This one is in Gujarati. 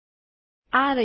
આ રહ્યું તે